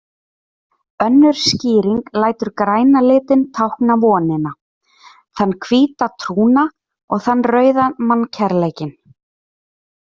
Önnur skýring lætur græna litinn tákna vonina, þann hvíta trúna og þann rauða mannkærleikinn.